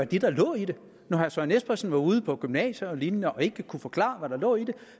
det der lå i det når herre søren espersen var ude på gymnasier og lignende og ikke kunne forklare hvad der lå i det